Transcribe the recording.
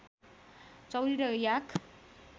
चौँरी र याक